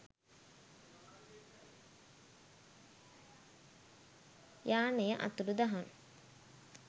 යානය අතුරුදහන්